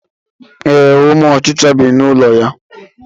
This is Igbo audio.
Ee, ụmụ ọchichara bi n'ụlọ ya.